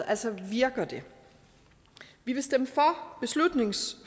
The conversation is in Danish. altså virker det vi vil stemme